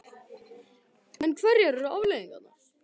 En hverjar eru afleiðingarnar?